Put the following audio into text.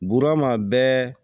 Buurama bɛɛ